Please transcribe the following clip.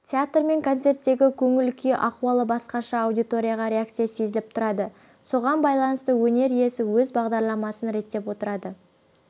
театр мен концерттегі көңіл-күй ахуалы басқаша аудитория реакциясы сезіліп тұрады соған байланысты өнер иесі өз бағдарламасын реттеп отырады